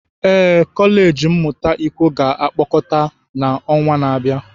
Ee, kọleji mmụta ikwo ga-akpọkọta na ọnwa na-abịa.